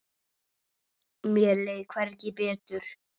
Mér leið hvergi betur.